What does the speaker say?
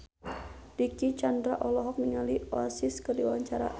Dicky Chandra olohok ningali Oasis keur diwawancara